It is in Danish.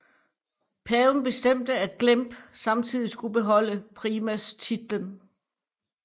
Paven bestemte at Glemp samtidig skulle beholde primastitlen